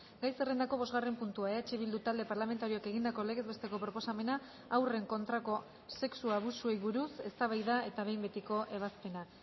gai zerrendako bosgarren puntua eh bildu talde parlamentarioak egindako legez besteko proposamena haurren kontrako sexu abusuei buruz eztabaida eta behin betiko ebazpena